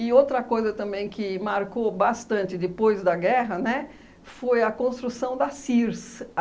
E outra coisa também que marcou bastante depois da guerra, né, foi a construção da Sears.